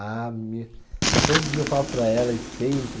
Ah, meu. Todo dia eu falo para elas, sempre.